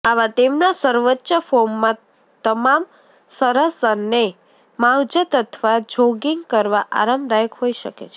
આવા તેમના સર્વોચ્ચ ફોર્મમાં તમામ સરસ અને માવજત અથવા જોગીંગ કરવા આરામદાયક હોઈ શકે છે